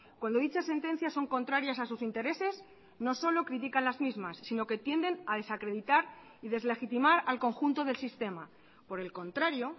cuando dichas sentencias son contrarias a sus intereses no solo critican las mismas sino que tienden a desacreditar y deslegitimar al conjunto del sistema por el contrario